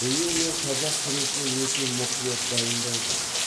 биыл мен қазақ күресіне өте мұқият дайындалдым